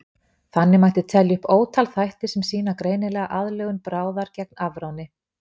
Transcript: Þannig mætti telja upp ótal þætti sem sýna greinilega aðlögun bráðar gegn afráni.